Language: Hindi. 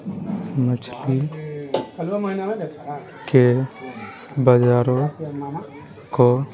मछली के बाजारों को --